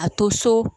A to so